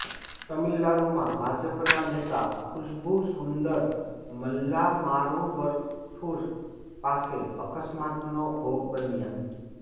તામિલનાડુમાં ભાજપના નેતા ખુશ્બુ સુંદર મલ્લામારુવથુર પાસે અકસ્માતનો ભોગ બન્યા